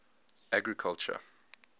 agriculture